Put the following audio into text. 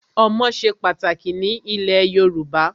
Ọmọ ṣe pàtàkì ní ilẹ̀ Yorùbá.